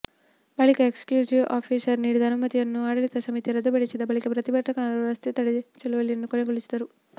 ಬಳಿಕ executive officer ನೀಡಿದ ಅನುಮತಿಯನ್ನು ಆಡಳಿತ ಸಮಿತಿ ರದ್ದುಪಡಿಸಿದ ಬಳಿಕ ಪ್ರತಿಭಟನೆಗಾರರು ರಸ್ತೆ ತಡೆ ಚಳವಳಿಯನ್ನು ಕೊನೆಗೊಳಿಸಿದರು